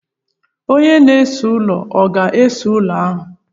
Onye na-ese ụlọ ọ ga ese ụlọ ahụ?